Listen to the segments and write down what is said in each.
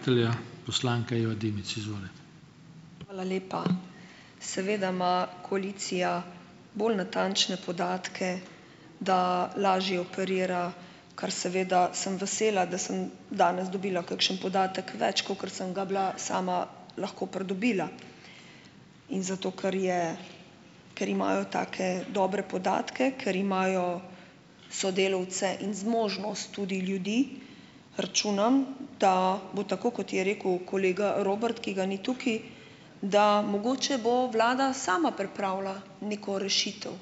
Hvala lepa. Seveda ima koalicija bolj natančne podatke, da lažje operira, kar seveda sem vesela, da sem danes dobila kakšen podatek več, kakor sem ga bila sama lahko pridobila. In zato, ker je ker imajo take dobre podatke, ker imajo sodelavce in zmožnost tudi ljudi, računam, da bo tako, kot je rekel kolega Robert, ki ga ni tukaj, da mogoče bo vlada sama pripravila neko rešitev.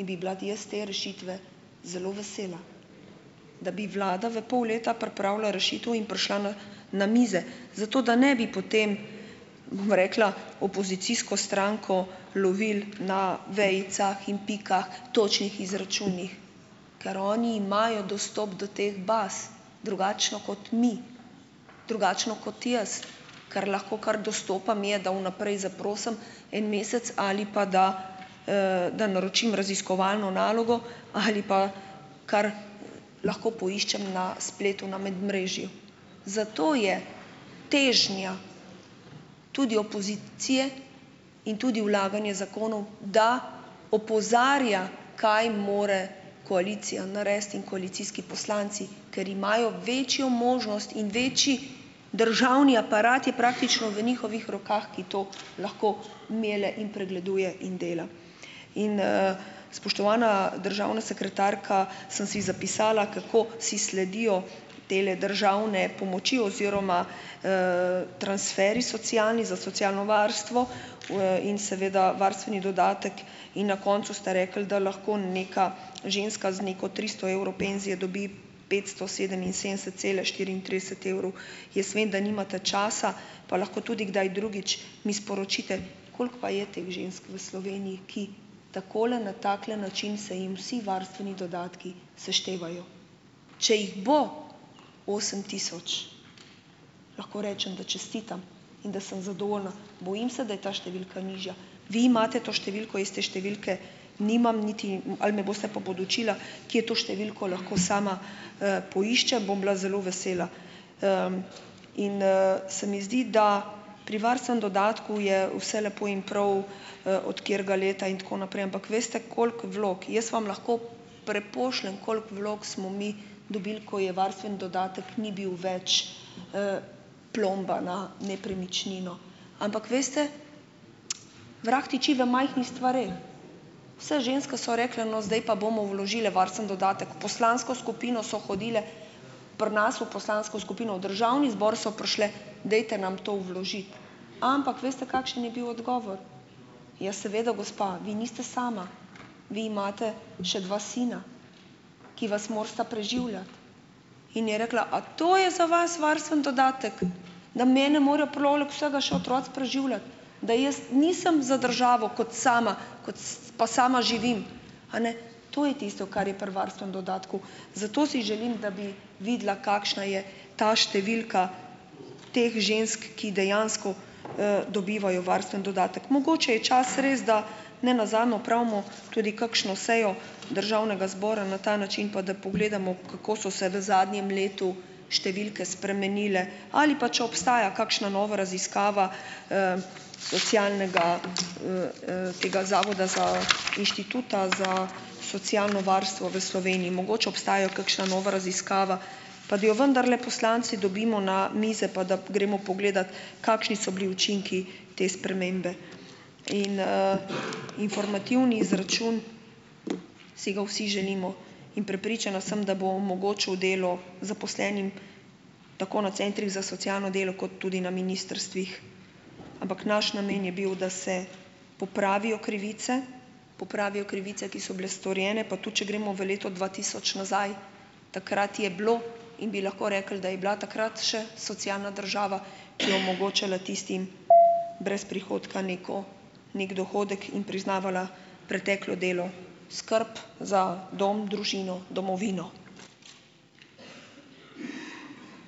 In bi bila, jaz te rešitve zelo vesela, da bi vlada v pol leta pripravila rešitev in prišla na na mize, zato da ne bi potem, bom rekla, opozicijsko stranko lovili na vejicah in pikah, točnih izračunih, ker oni imajo dostop do teh baz, drugačno kot mi, drugačno kot jaz. Kar lahko kar dostopam, je, da vnaprej zaprosim en mesec ali pa da, da naročim raziskovalno nalogo ali pa kar lahko poiščem na spletu, na medmrežju. Zato je težnja tudi opozicije in tudi vlaganje zakonov, da opozarja, kaj mora koalicija narediti in koalicijski poslanci, ker imajo večjo možnost in večji, državni aparat je praktično v njihovih rokah, ki to lahko melje in pregleduje in dela. In, spoštovana državna sekretarka, sem si zapisala, kako si sledijo tele državne pomoči oziroma, transferji socialni, za socialno varstvo, in seveda varstveni dodatek. In na koncu ste rekli, da lahko neka ženska z neko tristo evrov penzije dobi petsto sedeminsedemdeset cela štiriintrideset evrov. Jaz vem, da nimate časa, pa lahko tudi kdaj drugič mi sporočite, koliko pa je teh žensk v Sloveniji, ki takole na takle način se jim vsi varstveni dodatki seštevajo. Če jih bo osem tisoč, lahko rečem, da čestitam in da sem zadovoljna. Bojim se, da je ta številka nižja. Vi imate to številko, jaz te številke nimam niti, ali me boste pa podučila, kje to številko lahko sama, poiščem. Bom bila zelo vesela. In, se mi zdi, da pri varstvenem dodatku je vse lepo in prav, od katerega leta in tako naprej, ampak veste, koliko vlog. Jaz vam lahko prepošljem, koliko vlog smo mi dobili, ko je varstveni dodatek ni bil več, plomba na nepremičnino. Ampak veste, vrag tiči v majhnih stvareh. Vse ženske so rekle: "No, zdaj pa bomo vložile varstveni dodatek." V poslansko skupino so hodile, pri nas v poslansko skupino v državni zbor so prišle: "Dajte nam to vložiti." Ampak veste, kakšen je bil odgovor? "Ja, seveda, gospa, vi niste sama, vi imate še dva sina, ki vas morata preživljati." In je rekla: "A to je za vas varstveni dodatek, da mene morajo poleg vsega še otroci preživljati, da jaz nisem za državo kot sama, kot pa sama živim, a ne?" To je tisto, kar je pri varstvenem dodatku. Zato si želim, da bi videla, kakšna je ta številka teh žensk, ki dejansko, dobivajo varstveni dodatek. Mogoče je čas res, da ne nazadnje opravimo tudi kakšno sejo državnega zbora na ta način, pa da pogledamo, kako so se v zadnjem letu številke spremenile, ali pa če obstaja kakšna nova raziskava, socialnega, tega zavoda za, inštituta za socialno varstvo v Sloveniji. Mogoče obstaja kakšna nova raziskava, pa da jo vendarle poslanci dobimo na mize, pa da gremo pogledat, kakšni so bili učinki te spremembe. In, informativni izračun, si ga vsi želimo. In prepričana sem, da bo omogočil delo zaposlenim tako na centrih za socialno delo kot tudi na ministrstvih, ampak naš namen je bil, da se popravijo krivice, popravijo krivice, ki so bile storjene, pa tudi če gremo v leto dva tisoč nazaj, takrat je bilo, in bi lahko rekli, da je bila takrat še socialna država, ki je omogočala tistim brez prihodka neko, neki dohodek in priznavala preteklo delo, skrb za dom, družino, domovino.